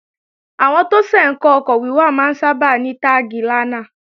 Àwọn tó ṣẹ̀ ń kọ́ ọkọ̀ wíwà máa ń sábà ní táàgi 'lánà'